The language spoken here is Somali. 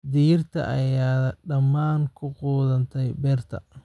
Digirta ayaa dhammaan ku qudhuntay beerta.